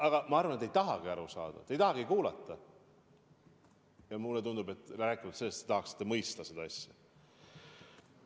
Aga ma arvan, et te ei tahagi aru saada, te ei tahagi kuulata, rääkimata sellest, et te tahaksite mõista seda asja.